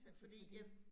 Altså fordi